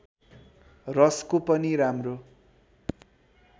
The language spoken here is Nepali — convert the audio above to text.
रसको पनि राम्रो